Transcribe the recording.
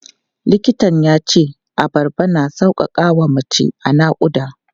Likitan ya ce abarba na sauƙaƙa wa mace a naƙuda.